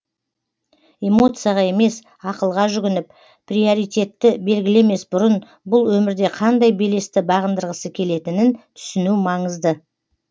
эмоцияға емес ақылға жүгініп приоритетті белгілемес бұрын бұл өмірде қандай белесті бағындырғысы келетінін түсіну маңызды